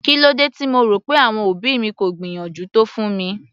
Kílódé tí mo rò pé àwọn òbí mi kò gbìyànjú tó fún mi?